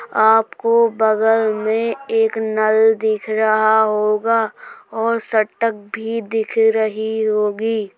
आप को बगल में एक नल दिख रहा होगा और शटक भी दिख रही होगी।